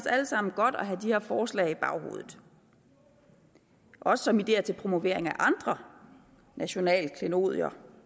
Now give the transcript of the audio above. alle sammen godt at have de her forslag i baghovedet også som ideer til promovering af andre nationale klenodier